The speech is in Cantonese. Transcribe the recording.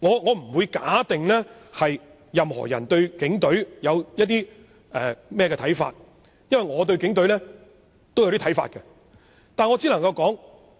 我不會確定任何人對警隊有何看法，因為我對警隊也有一些看法。